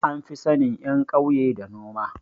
An fi sanin ƴan kauya da noma